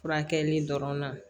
Furakɛli dɔrɔn na